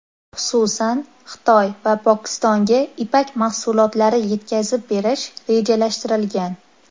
Xususan, Xitoy va Pokistonga ipak mahsulotlari yetkazib berish rejalashtirilgan.